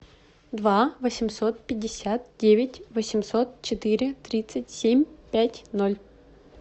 два восемьсот пятьдесят девять восемьсот четыре тридцать семь пять ноль